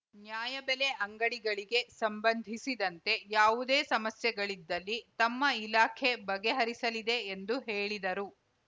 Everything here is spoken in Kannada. ನ್ಯಾಯ ಬೆಲೆ ಅಂಗಡಿಗಳಿಗೆ ಸಂಬಂಧಿಸಿದಂತೆ ಯಾವುದೇ ಸಮಸ್ಯೆಗಳಿದ್ದಲ್ಲಿ ತಮ್ಮ ಇಲಾಖೆ ಬಗೆಹರಿಸಲಿದೆ ಎಂದು ಹೇಳಿದರು